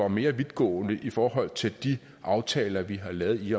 mere vidtgående i forhold til de aftaler vi har lavet i